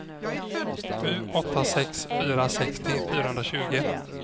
sju åtta sex fyra sextio fyrahundratjugo